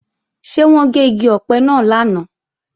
Ṣé wọ́n gé igi ọ̀pẹ náà lánàá?